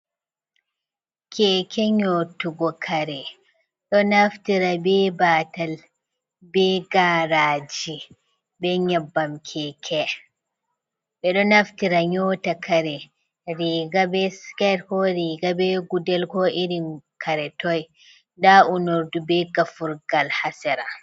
Keke nyotugo kare ɗo naftira be batal be gaaraji be nyabbam keke, ɓe ɗo naftira nyota kare riga be siket ko riga be gudel ko irin kare toi nda unordu be gafurgal ha sera.